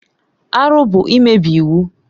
Arụ bụ imebi iwu.